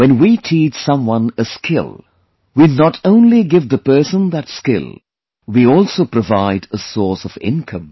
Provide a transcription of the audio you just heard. When we teach someone a skill, we not only give the person that skill; we also provide a source of income